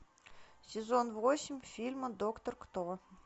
сезон восемь фильма доктор кто